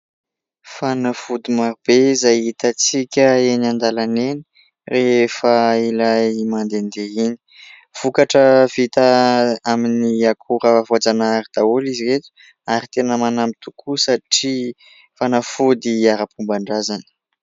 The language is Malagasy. Fanafody maro be izay hitantsika eny an-dalana eny rehefa ilay mandehandeha iny ; vokatra vita amin'ny akora voajanahary daholo izy ireto ary tena manampy tokoa satria fanafody ara-pomban-drazana.